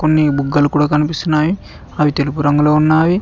కొన్ని బుగ్గలు కూడ కనిపిస్తున్నాయి అవి తెలుపు రంగులో ఉన్నావి.